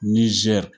Nizɛri